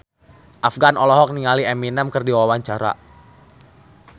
Afgan olohok ningali Eminem keur diwawancara